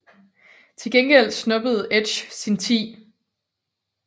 Til gengæld snuppede Edge sin 10